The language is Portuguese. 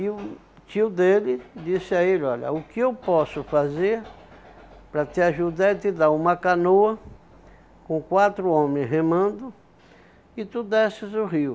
E o tio dele disse a ele, olha, o que eu posso fazer para te ajudar é te dar uma canoa com quatro homem remando e tu desces o rio.